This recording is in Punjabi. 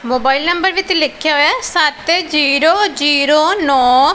ਮੋਬਾਈਲ ਨੰਬਰ ਵਿਚ ਲਿਖਿਆ ਹੋਇਆ ਸਤ ਜ਼ੀਰੋ ਜ਼ੀਰੋ ਨੋ --